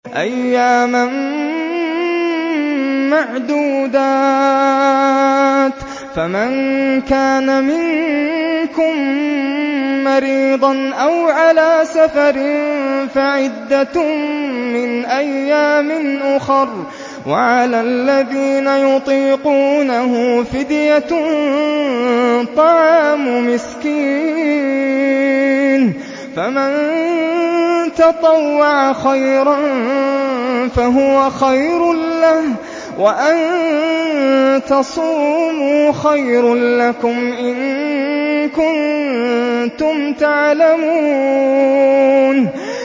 أَيَّامًا مَّعْدُودَاتٍ ۚ فَمَن كَانَ مِنكُم مَّرِيضًا أَوْ عَلَىٰ سَفَرٍ فَعِدَّةٌ مِّنْ أَيَّامٍ أُخَرَ ۚ وَعَلَى الَّذِينَ يُطِيقُونَهُ فِدْيَةٌ طَعَامُ مِسْكِينٍ ۖ فَمَن تَطَوَّعَ خَيْرًا فَهُوَ خَيْرٌ لَّهُ ۚ وَأَن تَصُومُوا خَيْرٌ لَّكُمْ ۖ إِن كُنتُمْ تَعْلَمُونَ